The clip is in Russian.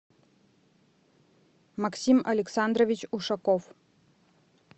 максим александрович ушаков